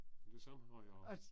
Det samme har jeg også